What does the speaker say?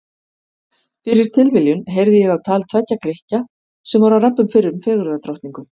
Fyrir tilviljun heyrði ég á tal tveggja Grikkja sem voru að rabba um fyrrum fegurðardrottningu.